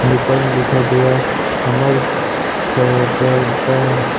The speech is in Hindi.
एंड ऊपर में लिखा गया है हमर सबरदा--